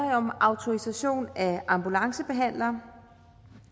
om autorisation af ambulancebehandlere